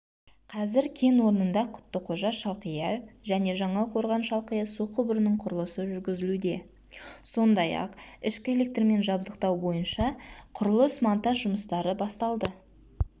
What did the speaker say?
қазір кен орнында құттықожа шалқия және жаңақорған шалқия су құбырының құрылысы жүргізілуде сондай-ақ ішкі электрмен жабдықтау бойынша құрылыс-монтаж жұмыстары басталды